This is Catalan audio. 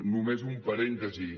només un parèntesi